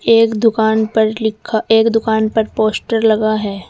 एक दुकान पर लिखा एक दुकान पर पोस्टर लगा है।